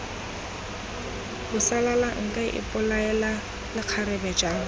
bosalala nka ipolaela lekgarebe jang